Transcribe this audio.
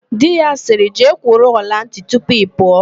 Di ya sịrị, "jee kwụrụ ọlantị tupu ị pụọ"!